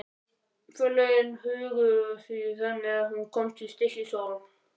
Forlögin höguðu því þannig að hún kom í Stykkishólm.